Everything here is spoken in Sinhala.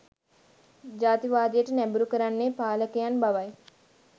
ජාතිවාදයට නැඹුරු කරන්නේ පාලකයන් බවයි